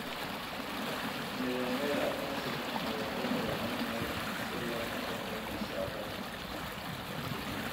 Nidaamyada aqoonsiga ayaa loo baahan yahay si loo xakameeyo socdaalka.